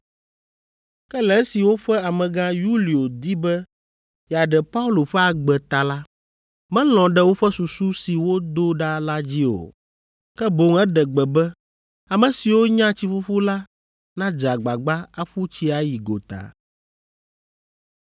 Ke le esi woƒe amegã, Yulio di be yeaɖe Paulo ƒe agbe ta la, melɔ̃ ɖe woƒe susu si wodo ɖa la dzi o. Ke boŋ eɖe gbe be ame siwo nya tsiƒuƒu la nadze agbagba aƒu tsi ayi gota.